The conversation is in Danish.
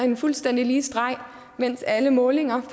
en fuldstændig lige streg mens alle målinger